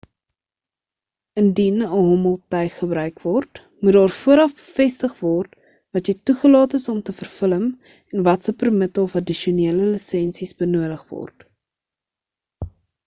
indien 'n hommeltuig gebruik word moet daar vooraf bevestig word wat jy toegelaat is om te verfilm en watse permitte of addisionele lisensies benodig word